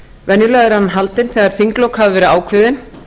venjulega er hann haldinn þegar þinglok hafa verið ákveðin